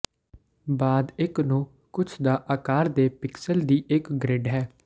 ਬਾਅਦ ਇੱਕ ਨੂੰ ਕੁਝ ਦਾ ਆਕਾਰ ਦੇ ਪਿਕਸਲ ਦੀ ਇੱਕ ਗਰਿੱਡ ਹੈ